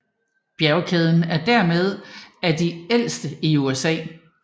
Bjergkæden er dermeden af de ældste i USA